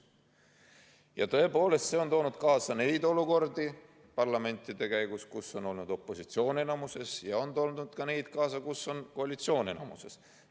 Ja tõepoolest, see on toonud parlamendis kaasa olukordi, kus on olnud opositsioon enamuses, ja on toonud kaasa ka olukordi, kus on koalitsioon enamuses.